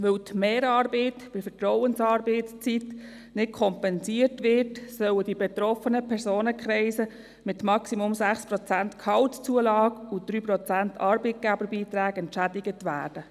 Weil die Mehrarbeit bei der Vertrauensarbeitszeit nicht kompensiert wird, sollen die betroffenen Personenkreise mit maximal 6 Prozent Gehaltszulage und 3 Prozent Arbeitgeberbeiträgen entschädigt werden.